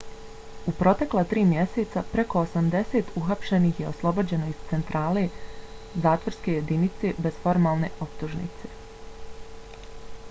u protekla 3 mjeseca preko 80 uhapšenih je oslobođeno iz centralne zatvorske jedinice bez formalne optužnice